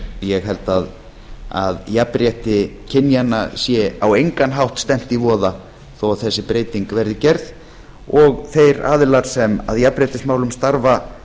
ég held að jafnrétti kynjanna sé á engan hátt stefnt í voða þó að þessi breyting verði gerð og þeir aðilar sem að jafnréttismálum starfa